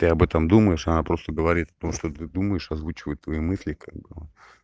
ты об этом думаешь она просто говорит о том что ты думаешь озвучивает твои мысли как бы